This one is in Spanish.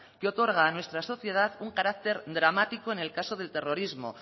que otorga a nuestra sociedad un carácter dramático en el caso del terrorismo